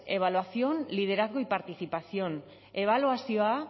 evaluación liderazgo y participación ebaluazioa